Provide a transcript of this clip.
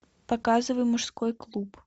показывай мужской клуб